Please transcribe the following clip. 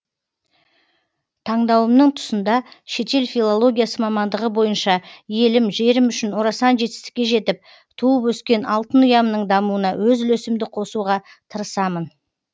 тандауымның тұсында шетел филологиясы мамандығы бойынша елім жерім үшін орасан жетістікке жетіп туып өскен алтын ұямның дамуына өз үлесімді қосұға тырысамын